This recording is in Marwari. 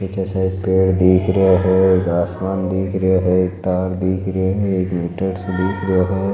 निचे साइड पेड़ दिख रहा है आसमान दिख रहा है एक तार दिख रहा है एक मीटर सो दिख रहा है।